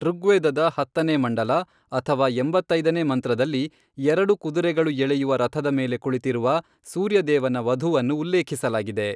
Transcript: ಋಗ್ವೇದದ ಹತ್ತನೇ ಮಂಡಲ ಅಥವಾ ಎಂಬತ್ತೈದನೇ ಮಂತ್ರದಲ್ಲಿ, ಎರಡು ಕುದುರೆಗಳು ಎಳೆಯುವ ರಥದ ಮೇಲೆ ಕುಳಿತಿರುವ ಸೂರ್ಯ ದೇವನ ವಧುವನ್ನು ಉಲ್ಲೇಖಿಸಲಾಗಿದೆ.